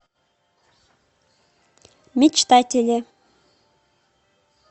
мечтатели